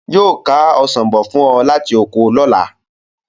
Yóò ká ọsàn bọ̀ fún ọ láti oko lọ́la.